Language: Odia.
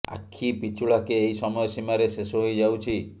ଆଖି ପିଛୁଳାକେ ଏହି ସମୟ ସୀମାରେ ଶେଷ ହୋଇ ଯାଉଛି